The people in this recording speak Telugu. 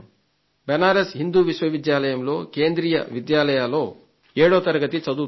బనారస్ హిందూ విశ్వవిద్యాలయంలో కేంద్రీయ విశ్వవిద్యాలయంలో ఏడో తరగతి చదువుతున్నాడు